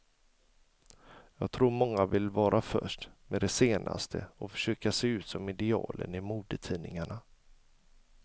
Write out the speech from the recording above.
Jag tror många vill vara först med det senaste och försöka se ut som idealen i modetidningarna.